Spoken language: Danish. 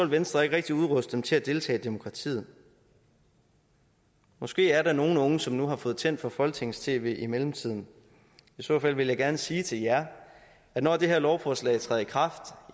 venstre ikke rigtig udruste dem til at deltage i demokratiet måske er der nogle unge som nu har fået tændt for folketingets tv i mellemtiden i så fald vil jeg gerne sige til jer at når det her lovforslag træder i kraft